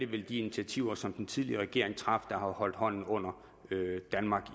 vel de initiativer som den tidligere regering tog der har holdt hånden under danmark